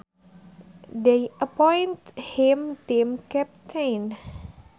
They appointed him team captain